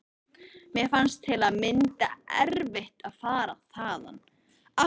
Mér fannst til að mynda erfitt að fara þaðan.